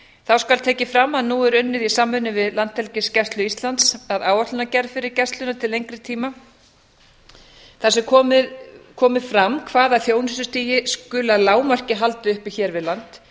þá skal tekið fram að nú er unnið í samræmi við landhelgisgæslu íslands að áætlunargerð fyrir gæsluna til lengri tíma þar sem komi fram hvaða þjónustustigi skuli að lágmarki haldið uppi hér við land